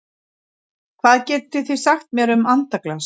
Hvað getið þið sagt mér um andaglas?